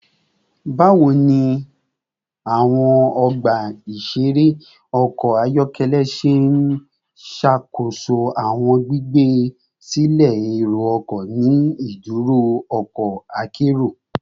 Bawo ni awọn ọgba iṣere ọkọ ayọkẹlẹ ṣe n ṣakoso awọn gbigbe silẹ ero-ọkọ ni iduro ọkọ akero?